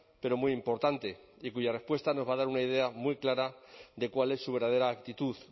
pero muy importante y cuya respuesta nos va a dar una idea muy clara de cuál es su verdadera actitud